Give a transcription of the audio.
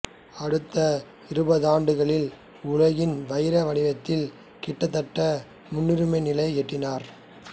அடுத்த இருபதாண்டுகளில் உலகின் வைர வணிகத்தில் கிட்டத்தட்ட முற்றுரிமைநிலை எட்டினார்